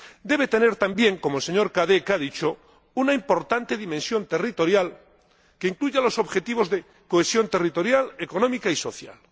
debe tener también, como el señor Cadec ha dicho, una importante dimensión territorial que incluya los objetivos de cohesión territorial, económica y social.